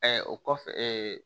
o kɔfɛ